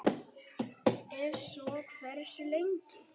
Ef svo er, hversu lengi?